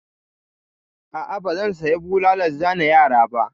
A'a, ba zan saya bulalan zane yara ba.